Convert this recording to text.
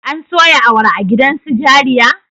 An soya awara a gidan su jariya?